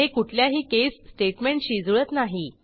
हे कुठल्याही केस स्टेटमेंटशी जुळत नाही